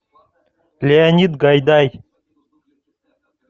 леонид гайдай